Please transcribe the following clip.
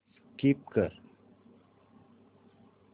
skip कर